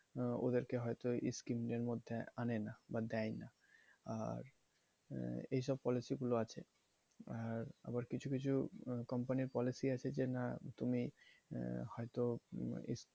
আহ ওদের কে scheme এর মধ্যে আনেনা বা দেয়না আর এইসব policy গুলো যেগুলো আছে আবার কিছু কিছু company র policy আছে যে না তুমি, আহ হয়তো